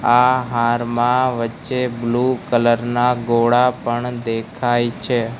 આ હારમાં વચ્ચે બ્લુ કલર ના ગોળા પણ દેખાય છે.